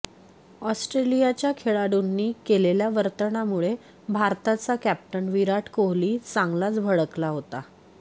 ऑस्ट्रेलियाच्या खेळाडूंनी केलेल्या वर्तनामुळे भारताचा कॅप्टन विराट कोहली चांगलाच भडकला होता